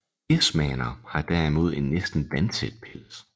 Desmaner har derimod en næsten vandtæt pels